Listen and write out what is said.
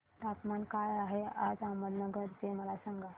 तापमान काय आहे आज अहमदनगर चे मला सांगा